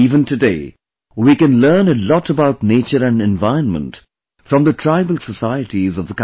Even today, we can learn a lot about nature and environment from the tribal societies of the country